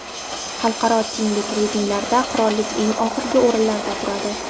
Xalqaro tenglik reytinglarida qirollik eng oxirgi o‘rinlarda turadi.